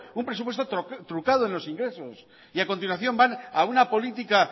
un presupuesto trucado en los ingresos y a continuación van a una política